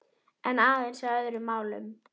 En aðeins að öðrum málum.